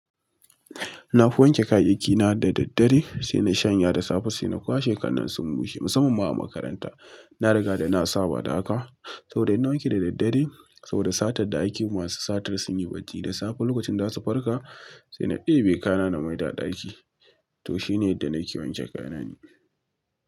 Nafi wanke kayyakina da daddare, sai na shanya da safe sai na kwashe kan nan sun bushe. Musamman ma a makaranta, na riga da na saba da haka. Saboda ina wanke da daddare, saboda satar da aiki masu satar sun yi bacci da safe lokacin da za su farka, sai na ɗebe kaya na mai da daki. To shi ne da na ke wanke kayana ni.